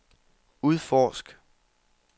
udforsk